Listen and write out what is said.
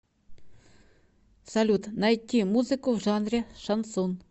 салют найти музыку в жанре шансон